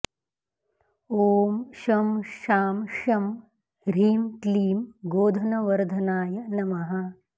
ॐ शं शां षं ह्रीं क्लीं गोधनवर्धनाय नमः